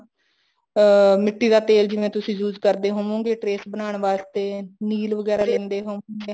ਅਮ ਮਿੱਟੀ ਦਾ ਤੇ ਜਿਵੇਂ ਤੁਸੀਂ use ਕਰਦੇ ਹੋਵੋਂਗੇ trace ਬਣਾਉਣ ਵਾਸਤੇ ਨੀਲ ਵਗੈਰਾ ਵੀ ਦਿੰਦੇ ਹੋਵੋਂਗੇ